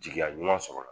Jigiya ɲuman sɔrɔla